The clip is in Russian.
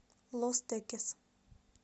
лос текес